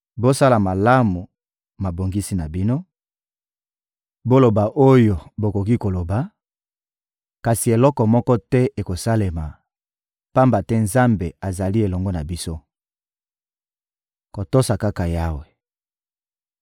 Bosala malamu mabongisi na bino, kasi ekobebisama; boloba oyo bokoki koloba, kasi eloko moko te ekosalema, pamba te Nzambe azali elongo na biso! Kotosa kaka Yawe